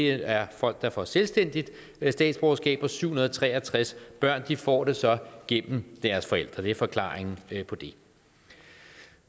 er folk der får selvstændigt statsborgerskab og de syv hundrede og tre og tres børn får det så gennem deres forældre det er forklaringen på det